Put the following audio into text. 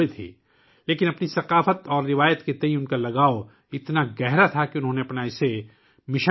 تاہم اپنی ثقافت اور روایت سے ان کا لگاؤ اتنا گہرا تھا کہ انہوں نے اسے اپنا مشن بنا لیا